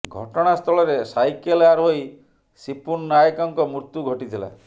ଘଟଣା ସ୍ଥଳରେ ସାଇକେଲ ଆରୋହୀ ସିପୁନ ନାୟକଙ୍କ ମୃତ୍ୟୁ ଘଟିଥିଲା